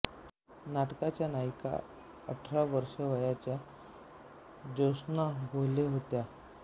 नाटकाच्या नायिका अठरा वर्षे वयाच्या ज्योत्स्ना भोळे होत्या